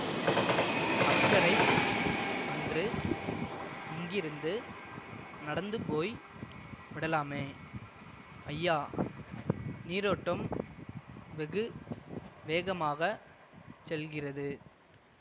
அக்கரை சென்று அங்கிருந்து நடந்துபோய் விடலாமே ஐயா நீரோட்டம் வெகு வேகமாக செல்கிறது